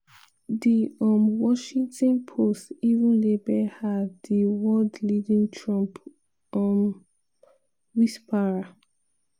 di um washington post even label her di world leading "trump um whisperer".